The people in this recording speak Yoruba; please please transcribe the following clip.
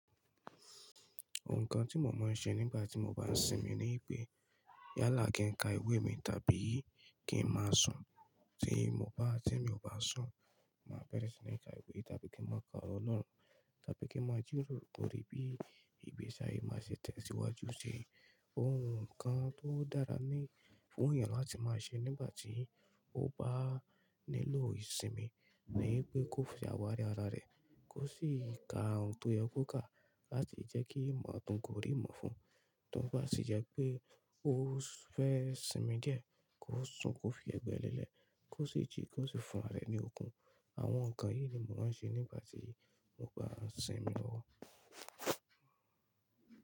Òhun kàn tí mo máa ń ṣe nígbà tí mo bá sinmi ni pé yálà kí n ka ìwé mi tàbí kí n máa sùn. Tí mo bá tí mi ò bá sùn, màá bẹ́rẹ̀ẹ́ síni ìka ìwé tàbí kí n máa ka ọ́ro olọ́rùn tàbí kí n máa jìròrò lòrí bí ìgbésí ayé mi máa ṣe tẹ̀síwájú ṣi. Òhun kàn tó dára ní fún èèyàn láti máa ṣe nígbà tí ó bá nílò ìsinmi ni pé kó fi àwárí ara rẹ̀, kó sì ka ohun tó yẹ kó kà láti jẹ́kí ìmọ̀ àtọ̀kùn orí mọ́ fún. Tí ó bá sì jẹ́ pé ó fẹ́ sinmi díẹ̀, kó sùn, kó fi ẹ̀gbẹ́ lẹ́lẹ́, kó sì jí, kó sì fún ara rẹ̀ ní okun. Àwọn nǹkan yìí ni mo máa ń ṣe nígbà tí mo bá n sinmi lọ́wọ́.